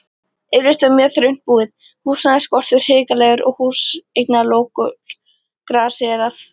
Yfirleitt var mjög þröngt búið, húsnæðisskortur hrikalegur og húsaleiguokur grasséraði.